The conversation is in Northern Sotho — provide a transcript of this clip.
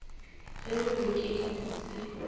ge re re ke dipitsi